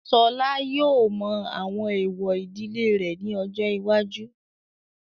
Ṣọlá yóò mọ àwọn èwọ̀ ìdílé rẹ̀ ní ọjọ́ iwájú.